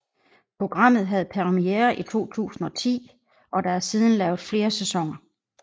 Programmet havde premiere i 2010 og der er siden lavet flere sæsoner